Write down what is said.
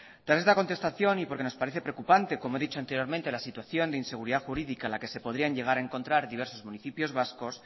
tras esta contestación y porque nos parece preocupante como he dicho anteriormente la situación de inseguridad jurídica en la que se podrían llegar a encontrar diversos municipios vascos